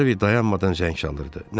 Harvey dayanmadan zəng çalırdı.